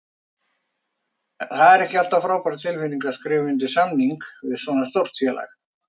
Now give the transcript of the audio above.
Það er alltaf frábær tilfinning að skrifa undir samning við svona stórt félag.